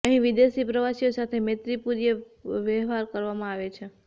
અહીં વિદેશી પ્રવાસીઓ સાથે મૈત્રીપૂર્ણ વ્યવહાર કરવામાં આવે છે